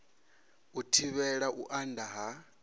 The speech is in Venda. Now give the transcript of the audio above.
u thivhela u anda ha